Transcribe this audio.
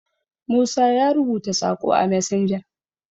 musa ya rubuta Sako a messenger